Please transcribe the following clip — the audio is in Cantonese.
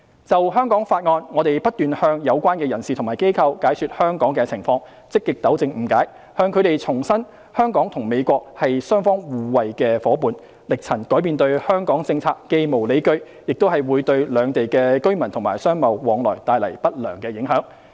就《香港法案》，我們不斷向有關人士和機構解說香港的情況，積極糾正誤解，向他們重申香港與美國是雙方互惠的夥伴，力陳改變對港政策既無理據，亦會對兩地居民和商貿往來帶來不良影響。